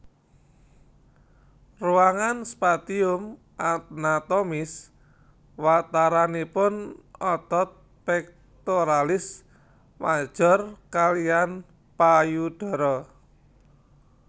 Ruangan spatium anatomis wataranipun otot pectoralis major kaliyan payudara